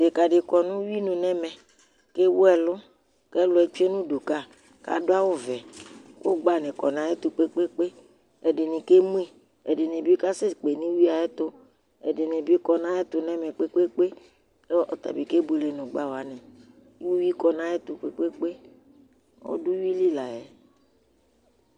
Ɖeka ɖi kɔ ŋu ʋwuinu nɛmɛ lewu ɛlu Ɛlu tsʋe ŋu ʋdu ka laɖu awu vɛ kʋ ʋgbani kɔ ŋu ayʋɛtu kpe kpe kpe Ɛɖìní kemʋ yi Ɛɖìní bi kasɛkpe ŋu ʋwuietu Ɛɖìní bi kɔ ŋu ayʋ ɛtu nɛmɛ kpe kpe kpe kʋ ɔtabi kebʋele ŋu ʋgbawaŋi Ʋwʋi kɔ ŋu ayʋ ɛtu kpe kpe kpe Ɔɖu ʋwʋili la yɛ